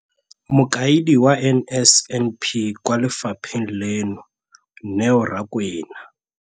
Mokaedi wa NSNP kwa lefapheng leno, Neo Rakwena.